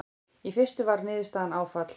Í fyrstu var niðurstaðan áfall.